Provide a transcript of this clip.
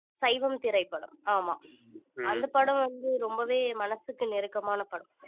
சைவம் திரைப்படம் ஆமாம் அந்த படம் வந்து ரொம்பவே மனசுக்கு நெருக்கமான படம்